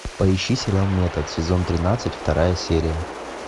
поищи сериал метод сезон тринадцать вторая серия